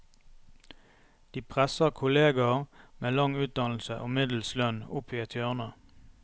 De presser kolleger med lang utdannelse og middels lønn opp i et hjørne.